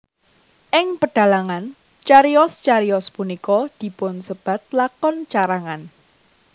Ing pedhalangan cariyos cariyos punika dipunsebat lakon carangan